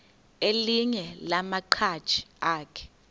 elinye lamaqhaji akhe